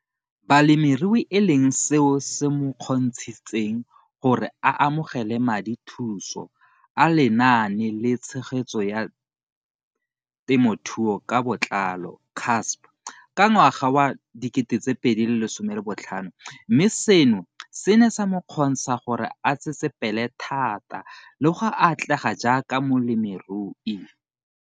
Balemirui e leng seo se mo kgontshitseng gore a amogele madithuso a Lenaane la Tshegetso ya Te mothuo ka Botlalo, CASP] ka ngwaga wa 2015, mme seno se ne sa mo kgontsha gore a tsetsepele thata le go atlega jaaka molemirui.